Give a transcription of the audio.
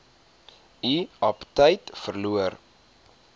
u aptyt verloor